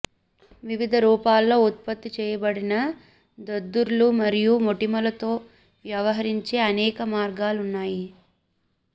వివిధ రూపాల్లో ఉత్పత్తి చేయబడిన దద్దుర్లు మరియు మొటిమలతో వ్యవహరించే అనేక మార్గాలు ఉన్నాయి